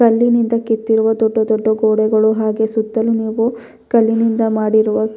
ಕಲ್ಲಿನಿಂದ ಕೆತ್ತಿರುವ ದೊಡ್ಡ ದೊಡ್ಡ ಗೋಡೆಗಳು ಹಾಗೂ ಸುತ್ತಲು ನೀವು ಕಲ್ಲಿನಿಂದ ಮಾಡಿರುವ --